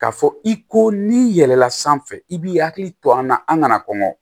K'a fɔ i ko n'i yɛlɛnna sanfɛ i b'i hakili to an na an kana kɔngɔ